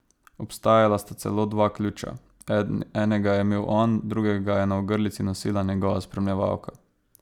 Obstajala sta celo dva ključa, enega je imel on, drugega je na ogrlici nosila njegova spremljevalka.